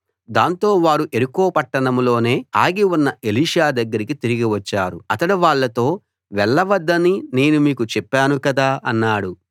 దాంతో వారు యెరికో పట్టణంలోనే ఆగి ఉన్న ఎలీషా దగ్గరికి తిరిగి వచ్చారు అతడు వాళ్ళతో వెళ్ళ వద్దని నేను మీకు చెప్పాను కదా అన్నాడు